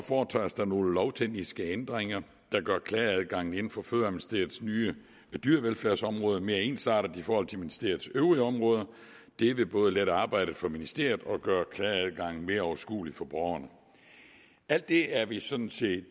foretages der nogle lovtekniske ændringer der gør klageadgangen inden for fødevareministeriets nye dyrevelfærdsområde mere ensartet i forhold til ministeriets øvrige områder det vil både lette arbejdet for ministeriet og gøre klageadgangen mere overskuelig for borgerne alt det er vi sådan set